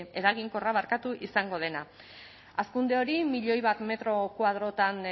eraginkorra izango dena hazkunde hori milioi bat metro koadrotan